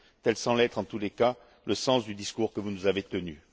Tel semble être, en tous les cas, le sens du discours que vous nous avez tenu.